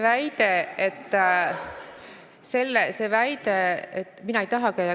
Väide, et mina ei taha.